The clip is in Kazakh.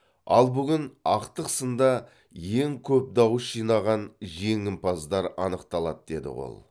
ал бүгін ақтық сында ең көп дауыс жинаған жеңімпаздар анықталады деді ол